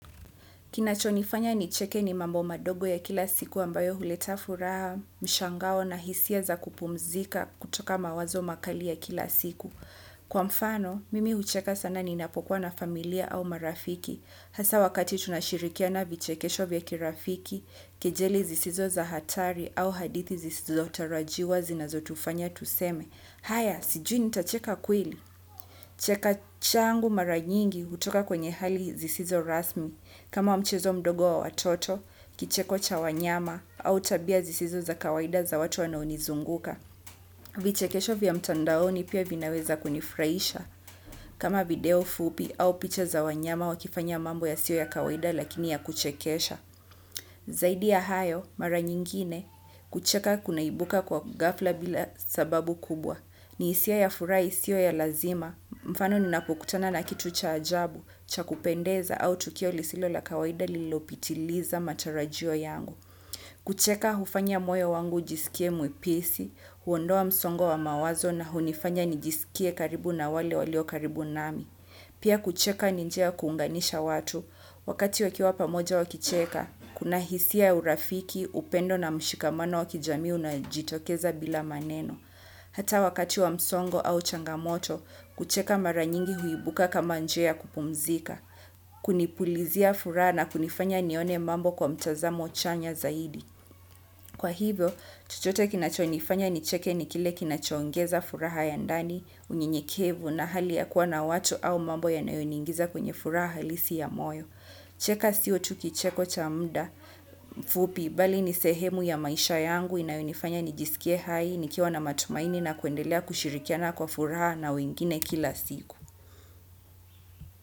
Kinachonifanya nicheke ni mambo madogo ya kila siku ambayo huleta furaha mshangao na hisia za kupumzika kutoka mawazo ya kila siku. Kwa mfano, mimi hucheka sana ni napokuwa na familia au marafiki. Hasa wakati tunashirikiana vichekesho vya kirafiki kejeli zisizo za hatari au hadithi sizizo tarajiwa zinazo tufanya tuseme. Haya, sijui nitacheka kweli. Cheka changu mara nyingi hutoka kwenye hali zisizo rasmi. Kama mchezo mdogo wa watoto kicheko cha wanyama au tabia zisizo za kawaida za watu wanao nizunguka. Vichekesho vya mtandaoni pia vinaweza kunifraisha. Kama video fupi au picha za wanyama wakifanya mambo ya sio ya kawaida lakini ya kuchekesha. Zaidi ya hayo, mara nyingine, kucheka kunaibuka kwa ghafla bila sababu kubwa. Ni hisia ya furaha isio ya lazima mfano ninapokutana na kitu cha ajabu cha kupendeza au tukio lisilo la kawaida lililo pitiliza matarajio yangu. Kucheka hufanya moyo wangu ujisikie mwepesi, huondoa msongo wa mawazo na hunifanya nijisikie karibu na wale walio karibu nami. Pia kucheka ni njia kuunganisha watu, wakati wakiwa pamoja wakicheka, kuna hisia urafiki, upendo na mshikamano wa kijamii unaojitokeza bila maneno. Hata wakati wa msongo au changamoto, kucheka maranyingi huibuka kama njia kupumzika, kunipulizia furaha na kunifanya nione mambo kwa mtazamo chanya zaidi. Kwa hivyo, chochote kinachonifanya nicheke ni kile kinacho ongeza furaha ya ndani, unyenyekevu na hali ya kuwa na watu au mambo ya nayo niingiza kwenye furaha halisi ya moyo. Cheka sio tu kicheko cha mda mfupi bali ni sehemu ya maisha yangu inayonifanya nijisikie hai nikiwa na matumaini na kuendelea kushirikiana kwa furaha na wengine kila siku.